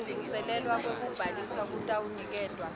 kuvuselelwa kwekubhalisa kutawuniketwa